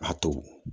A to